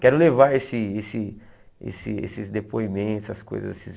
Quero levar esse esse esse esses depoimentos, essas coisas esses